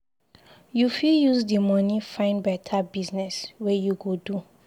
You fit use di moni find beta business wey you go do.